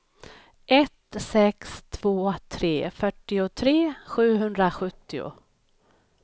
ett sex två tre fyrtiotre sjuhundrasjuttio